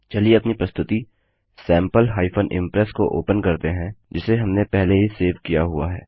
चलिए अपनी प्रस्तुति sample इम्प्रेस को ओपन करते हैं जिसे हमने पहले ही सेव किया हुआ है